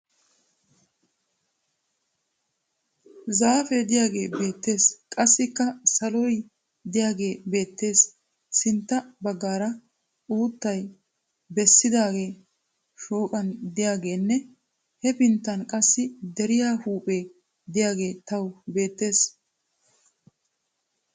Zaafee diyagee beettes. Qassikka saloy diyagee beettes. Sintta baggaara uuttay bessidaagee shooqan diyageenne hepinttan qassi deriya huuphee diyagee tawu beettes.